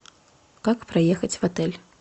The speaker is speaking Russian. как проехать в отель